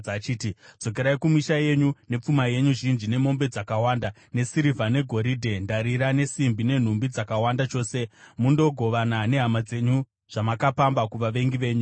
achiti, “Dzokerai kumisha yenyu nepfuma yenyu zhinji, nemombe dzakawanda, nesirivha, negoridhe, ndarira nesimbi, nenhumbi dzakawanda chose, mundogovana nehama dzenyu zvamakapamba kuvavengi venyu.”